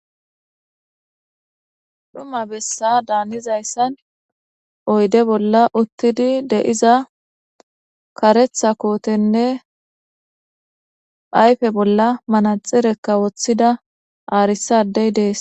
Dhuma bessada hanizayssan oyde bolla uttidi de'iza kareththa kootenne ayfe bolla manaxirekka woththida aarisadey dees.